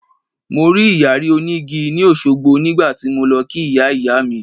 Mo rí Ìyàrí òní igi ni Òṣogbo nígbà tí mo lọ kí Ìyá Ìyá mi.